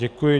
Děkuji.